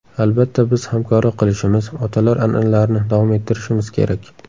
Albatta biz hamkorlik qilishimiz, otalar an’analarini davom ettirishimiz kerak.